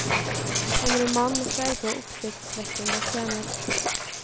En roman med sterke og oppsiktsvekkende scener.